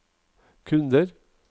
kunder